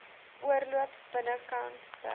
oorloop binnekant reg